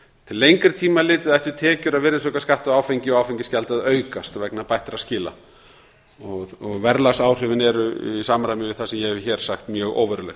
til lengri tíma litið ættu tekjur af virðisaukaskatti af áfengi og áfengisgjaldi að aukast vegna bættra skila verðlagsáhrifin eru í samræmi við það sem ég hef hér sagt mjög óveruleg